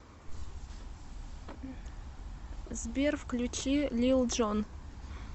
сбер включи лил джон